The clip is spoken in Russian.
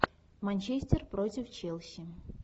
манчестер против челси